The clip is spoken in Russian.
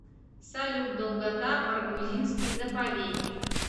салют долгота баргузинский заповедник